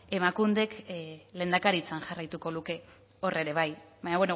emakundek lehendakaritzan jarraituko luke hor ere bai baina